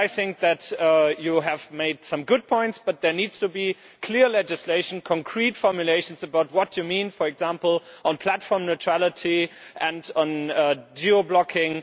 I think that you have made some good points, but there needs to be clear legislation, concrete formulations, about what you mean for example on platform neutrality and on geo blocking